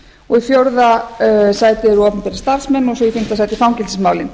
og í fjórða sæti eru opinberir starfsmenn og í fimmta sæti fangelsismálin